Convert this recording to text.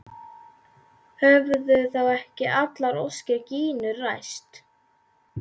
Höfðu þá ekki allar óskir Gínu ræst?